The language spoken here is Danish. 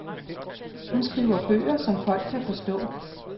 Hun skriver bøger, som folk kan forstå.